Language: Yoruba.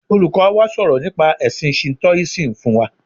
Olùkọ́ wa sọ̀rọ̀ nípa ẹ̀sin Shintoism fún wa.